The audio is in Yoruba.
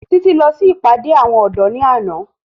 Títí lọ sí ìpàdé àwọn ọ̀dọ́ ní àná